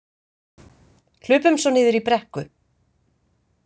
Hlupum svo niður í brekku.